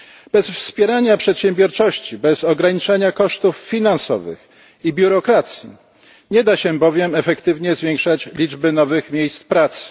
Bez wspierania przedsiębiorczości, bez ograniczania kosztów finansowych i biurokracji nie da się bowiem efektywnie zwiększać liczby nowych miejsc pracy.